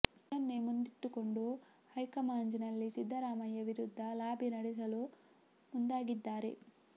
ಇದನ್ನೇ ಮುಂದಿಟ್ಟುಕೊಂಡು ಹೈಕಮಾಂಜ್ ನಲ್ಲಿ ಸಿದ್ದರಾಮಯ್ಯ ವಿರುದ್ಧ ಲಾಬಿ ನಡೆಸಲು ಮುಂದಾಗಿದ್ದಾರೆ